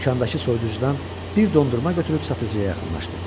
Dükandakı soyuducudan bir dondurma götürüb satıcıya yaxınlaşdı.